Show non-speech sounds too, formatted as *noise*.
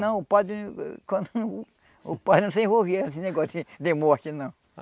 Não, o padre *unintelligible* o padre não se envolvia nesse negócio de de morte, não.